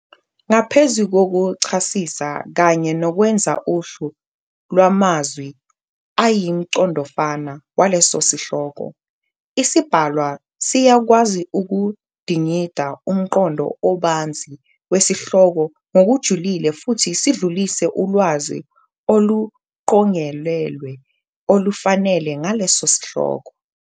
Ngaphezu kokuchasisa kanye nokwenza uhlu lwamazwi ayimiqondofana waleso sihloko, isibhalwa siyakwazi ukudingida umqondo obanzi wesihloko ngokujulile futhi sidlulise ulwazi oluqongelelwe olufanele ngaleso sihloko.